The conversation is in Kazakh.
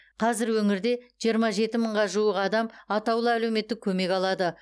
қазір өңірде жиырма жеті мыңға жуық адам атаулы әлеуметтік көмек алады